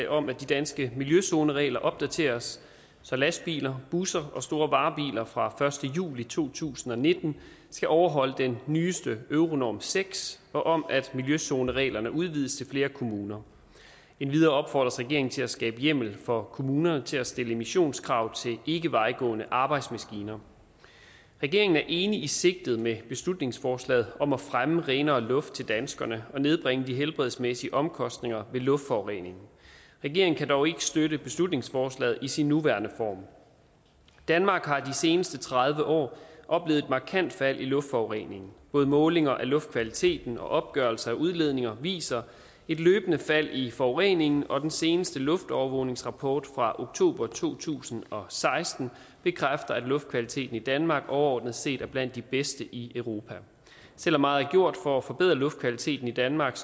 om at de danske miljøzoneregler opdateres så lastbiler busser og store varebiler fra første juli to tusind og nitten skal overholde den nyeste euronorm seks og om at miljøzonereglerne udvides til flere kommuner endvidere opfordres regeringen til at skabe hjemmel for kommunerne til at stille emissionskrav til ikkevejgående arbejdsmaskiner regeringen er enig i sigtet med beslutningsforslaget om at fremme renere luft til danskerne og nedbringe de helbredsmæssige omkostninger ved luftforureningen regeringen kan dog ikke støtte beslutningsforslaget i sin nuværende form danmark har de seneste tredive år oplevet et markant fald i luftforureningen både målinger af luftkvaliteten og opgørelser af udledninger viser et løbende fald i forureningen og den seneste luftovervågningsrapport fra oktober to tusind og seksten bekræfter at luftkvaliteten i danmark overordnet set er blandt de bedste i europa selv om meget er gjort for at forbedre luftkvaliteten i danmark